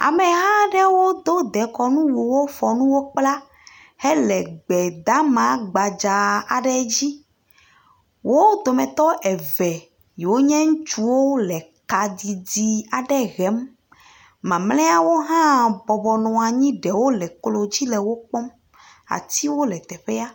Ameha aɖewo do dekɔnuwuwo fɔ nuwo kpla hele gbedeama gbadza aɖe dzi. wo dometɔ eve yi wonye ŋutsuwo le ka didi aɖe hem. Mamlɛawo hã bɔbɔ nɔ anyi. Ɖewo le klo dzi le wo kpɔm. Atiwo le teƒea.